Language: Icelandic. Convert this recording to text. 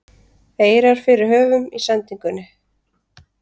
eirar fyrir höfum í sendingunni